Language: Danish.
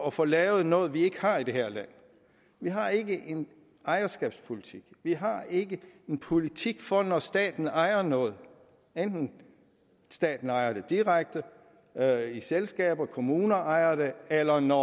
at få lavet noget vi ikke har i det her land vi har ikke en ejerskabspolitik vi har ikke en politik for det når staten ejer noget hvadenten staten ejer det direkte eller i selskaber når kommuner ejer det eller når